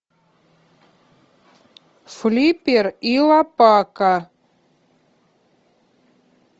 флиппер и лопака